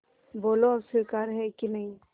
बोलो अब स्वीकार है कि नहीं